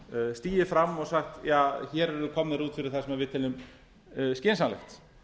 stigið fram og sagt hér erum við komnir út fyrir það sem við teljum skynsamlegt